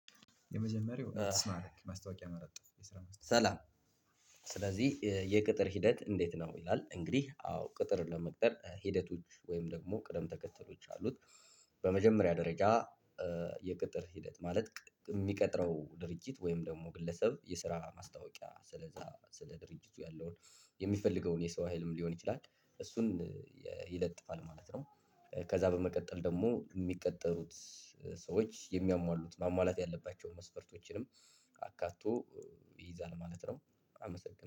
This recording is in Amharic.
የመጀመሪያው አይስማርክ ማስታወቂያ መለጠፍ የስራ መስጠት ሰላም ስለዚህ የቅጥር ሂደት እንዴት ነው? ይላል። አዎ ቅጥር ለመቅጠር ሂደቶች ወይም ደግሞ ቅደም ተከተሎች አሉት። በመጀመሪያ ደረጃ የቅጥር ሂደት ማለት የሚቀጥረው ድርጅት ወይም ደግሞ ግለሰብ የስራ ማስታወቂያ ስለዛ ስለ ድርጅቱ ያለውን የሚፈልገውን የሰው ሀይልም ሊሆን ይችላል እሱን ይለጥፋል ማለት ነው። ከዛ በመቀጠል ደግሞ የሚቀጠሩት ሰዎች የሚያሟሉት ሟሟላት ያለባቸው መስፈርቶችንም አካቶ ይይዛል ማለት ነው። አመሰግናለሁ